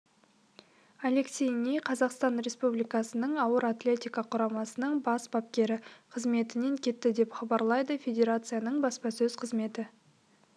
алексей ни қазақстан республикасының ауыр атлетика құрамасының бас бапкері қызметінен кетті деп хабарлайды федерацияның баспасөз қызметі